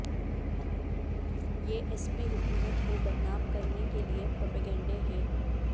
یہ S P حکومت کو بدنام کرنے کے لئے پروپیگنڈے ہیں